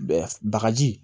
Bagaji